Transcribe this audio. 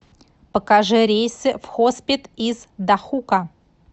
покажи рейсы в хоспет из дахука